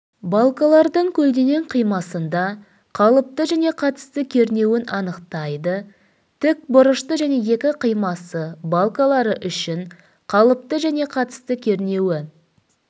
барлардың көлденең қимасында қалыпты және қатысты кернеуін анықтайды тікбұрышты және екі қимасы балкалары үшін қалыпты және қатысты кернеуі